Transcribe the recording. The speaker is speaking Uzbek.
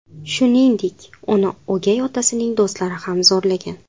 Shuningdek, uni o‘gay otasining do‘stlari ham zo‘rlagan.